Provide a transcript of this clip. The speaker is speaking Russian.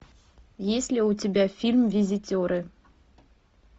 есть ли у тебя фильм визитеры